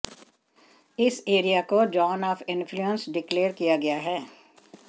इस एरिया को zone of influence declare किया गया है